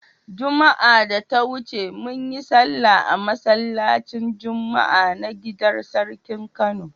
Juma'ar da ta wuce mun yi sallah a masallacin Juma'a na gidar sarkin Kano.